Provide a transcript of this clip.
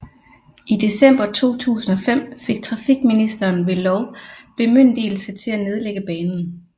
I december 2005 fik trafikministeren ved lov bemyndigelse til at nedlægge banen